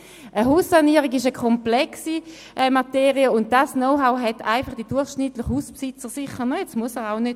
Eine Haussanierung ist eine komplexe Materie, und über dieses Know-how verfügt der durchschnittliche Hausbesitzer sicher nicht, das muss er auch gar nicht.